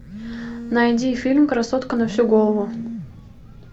найди фильм красотка на всю голову